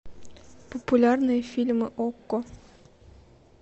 популярные фильмы окко